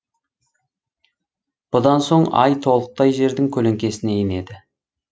бұдан соң ай толықтай жердің көлеңкесіне енеді